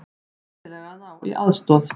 Sennilega að ná í aðstoð.